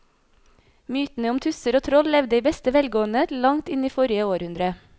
Mytene om tusser og troll levde i beste velgående til langt inn i forrige århundre.